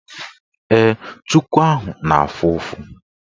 Ee, chuku ahụ na-afụ ụfụ.